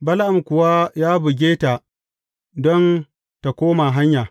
Bala’am kuwa ya buge ta don tă koma hanya.